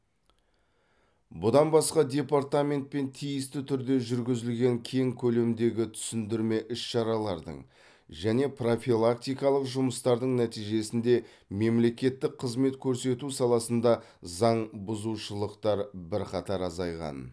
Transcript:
бұдан басқа департаментпен тиісті түрде жүргізілген кең көлемдегі түсіндірме іс шаралардың және профилактикалық жұмыстардың нәтижесінде мемлекеттік қызмет көрсету саласында заңбұзушылықтар бірқатар азайған